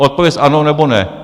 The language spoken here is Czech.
Odpověz ano, nebo ne?